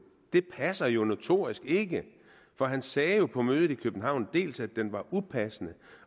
det passer jo notorisk ikke for han sagde på mødet i københavn dels at den var upassende